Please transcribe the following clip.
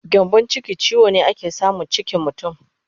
Gyambon chiki chiwo ne ake samu chikin mutun